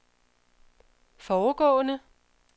foregående